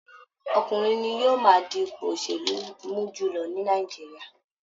Ọkùnrin ni yóò máa di ipò òsèlú mú jùlọ ní Nàìjíríà